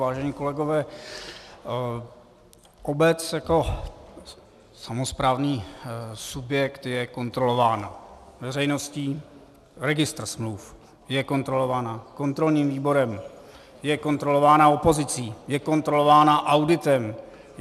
Vážení kolegové, obec jako samosprávný subjekt je kontrolována veřejností, registrem smluv, je kontrolována kontrolním výborem, je kontrolována opozicí, je kontrolována auditem.